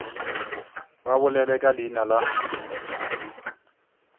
ba bolele ka leina la